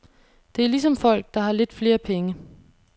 Det er ligesom folk, der har lidt flere penge.